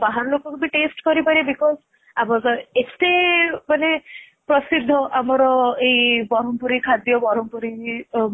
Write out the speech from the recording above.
ଆମ ବାହାର ଲୋକ କୁ ବି taste କରିପାରିବେ because ଏତେ ମାନେ ପ୍ରସିଦ୍ଧ ଆମର ଏଇ ବ୍ରହ୍ମପୁରି ଖାଦ୍ୟ ବ୍ରହ୍ମପୁରି